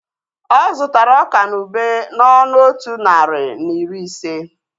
Ọ zụtara ọka na ube n'ọnụ otu narị na iri ise